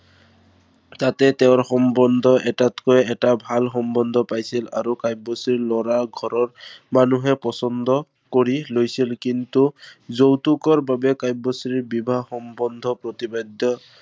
তাতে তেওঁ সম্বন্ধ এটাতকৈ এটা ভাল সম্বন্ধ পাইছিল আৰু কাব্যশ্ৰীক লৰা ঘৰৰ পছন্দ কৰি লৈছিল। কিন্তু যৌতুকৰ বাবে কাব্যশ্ৰীৰ বিবাহ সম্বন্ধ প্ৰতিবাধ্য়